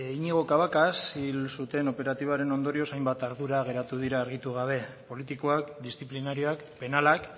iñigo cabacas hil zuten operatiboaren ondorioz hainbat ardura geratu dira argitu gabe politikoak disziplinarioak penalak